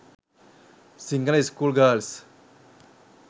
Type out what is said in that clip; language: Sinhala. sinhala school girls